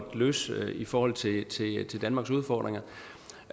løse i forhold til danmarks udfordringer